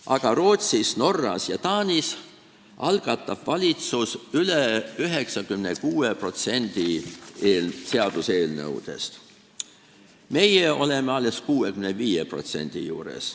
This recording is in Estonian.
Aga Rootsis, Norras ja Taanis algatab valitsus üle 96% seaduseelnõudest, meie oleme alles 65% juures.